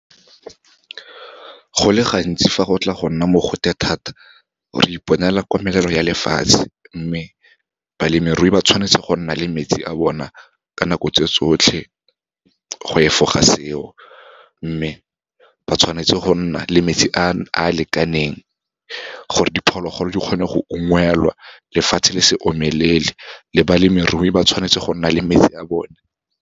Go le gantsi fa go tla go nna mogote thata, re iponela komelelo ya lefatshe, mme balemirui ba tshwanetse go nna le metsi a bona ka nako tse tsotlhe, go efoga seo. Mme ba tshwanetse go nna le metsi a lekaneng, gore diphologolo di kgone go ungwelwa, lefatshe le se omelele, le balemirui ba tshwanetse go nna le metsi a bone.